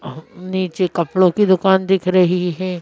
अब नीचे कपड़ों की दुकान दिख रही है।